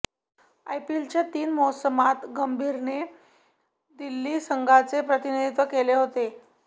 आयपीएलच्या तीन मोसमात गंभीरने दिल्ली संघाचे प्रतिनिधीत्व केले होते